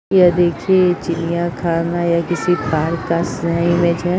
यह देखिए चिड़िया खाना या किसी पार्क का सी इमेज है।